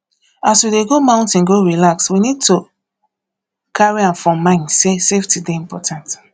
as we dey go mountain go relax we go need to carry am for mind sey safety dey important